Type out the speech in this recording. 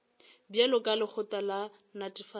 bjalo ka lekgotla la netefatšo